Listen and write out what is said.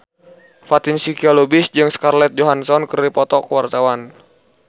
Fatin Shidqia Lubis jeung Scarlett Johansson keur dipoto ku wartawan